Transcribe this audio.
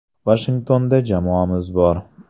Vashingtonda jamoamiz bor.